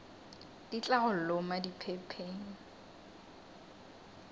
di tla go loma diphepheng